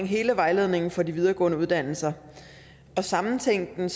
hele vejledningen for de videregående uddannelser og sammentænke